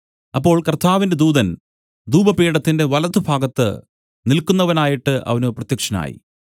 അപ്പോൾ കർത്താവിന്റെ ദൂതൻ ധൂപപീഠത്തിന്റെ വലത്തുഭാഗത്ത് നില്ക്കുന്നവനായിട്ട് അവന് പ്രത്യക്ഷനായി